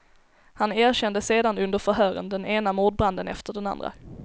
Han erkände sedan under förhören den ena mordbranden efter den andra.